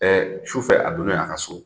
Ɛ sufɛ a donnen a ka so